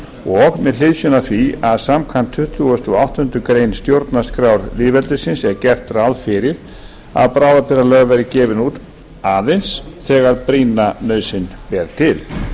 og með hliðsjón af því að samkvæmt tuttugustu og áttundu grein stjórnarskrár lýðveldisins er gert ráð fyrir að bráðabirgðalög verði gefin út aðeins þegar brýna nauðsyn ber til